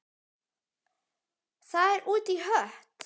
Það er út í hött.